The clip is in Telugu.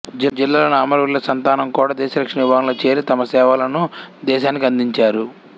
జిల్లాలోని అమరవీరుల సంతానంకూడా దేశరక్షణ విభాగంలో చేరి తమ సేవలను దేశానికి అందించారు